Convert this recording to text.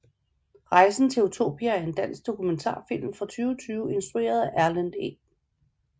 Rejsen til Utopia er en dansk dokumentarfilm fra 2020 instrueret af Erlend E